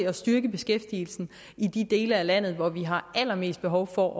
at styrke beskæftigelsen i de dele af landet hvor vi har allermest behov for